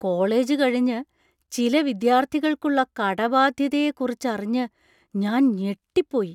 College കഴിഞ്ഞ് ചില വിദ്യാർത്ഥികൾക്കുള്ള കടബാധ്യതയെ കുറിച്ചറിഞ്ഞ് ഞാൻ ഞെട്ടിപ്പോയി.